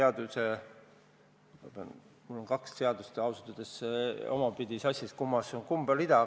Ausalt öeldes on mul kaks seadust omavahel sassis, et kummas on kumb rida.